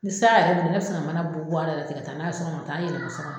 Ni sisan yɛrɛ don ne bɛ sin ka mana bɔ bɔ a la tɛ ka taa n'a ye so kɔnɔ ka taa yɛlɛma n ka so kɔnɔ